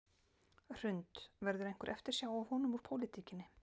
Hrund: Verður einhver eftirsjá af honum úr pólitíkinni?